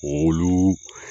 Oluu